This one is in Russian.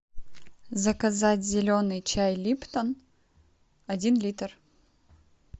заказать зеленый чай липтон один литр